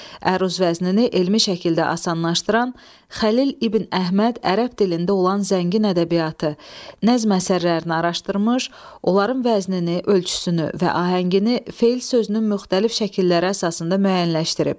Əruz vəznini elmi şəkildə asanlaşdıran Xəlil İbn Əhməd ərəb dilində olan zəngin ədəbiyyatı, nəzm əsərlərini araşdırmış, onların vəznini, ölçüsünü və ahəngini feil sözünün müxtəlif şəkillər əsasında müəyyənləşdirib.